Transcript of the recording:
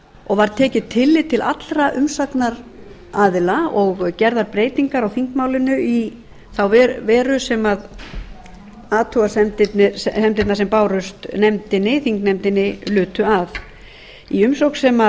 og var tekið tillit til allra umsagnaraðila og gerðar breytingar á þingmálinu í þá veru sem athugasemdirnar bárust nefndinni þingnefndinni lutu að í umsögn